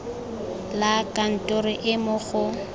la kantoro e mo go